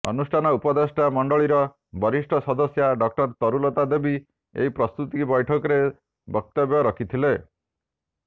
ଅନୁଷ୍ଠାନ ଉପଦେଷ୍ଟା ମଣ୍ଡଳୀର ବରିଷ୍ଠ ସଦସ୍ୟା ଡ଼ଃ ତରୁଲତା ଦେବୀ ଏହି ପ୍ରସ୍ତୁତି ବୈଠକରେ ବକ୍ତବ୍ୟ ରଖିଥିଲେ